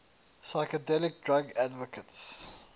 psychedelic drug advocates